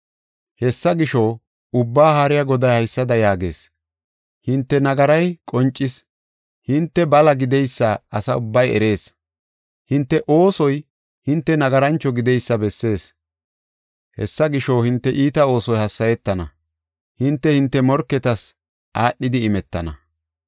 Hessa gisho, Ubbaa Haariya Goday haysada yaagees; hinte nagaray qoncis; hinte bala gideysa asa ubbay erees; hinte oosoy hinte nagarancho gideysa bessees. Hessa gisho, hinte iita oosoy hassayetana; hinte, hinte morketas aadhidi imetana.